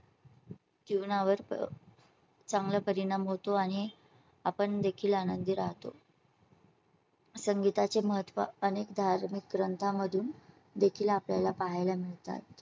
जीवनावर. चांगला परिणाम होतो आणि आपण देखील आनंदी राहतो. संगीता चे महत्त्व अनेक धार्मिक ग्रंथांमधून देखील आपल्या ला पाहायला मिळतात.